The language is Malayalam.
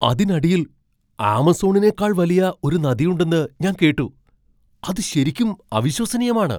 അതിനടിയിൽ ആമസോണിനേക്കാൾ വലിയ ഒരു നദിയുണ്ടെന്ന് ഞാൻ കേട്ടു , അത് ശരിക്കും അവിശ്വസനീയമാണ്!